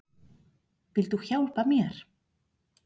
Viltu hjálpa mér?